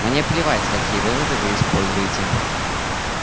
мне плевать какие выводы вы используете